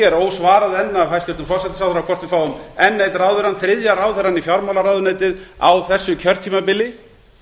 er ósvarað enn af hæstvirtum forsætisráðherrann hvort við fáum enn einn ráðherrann þriðja ráðherrann í fjármálaráðuneytið á þessu kjörtímabili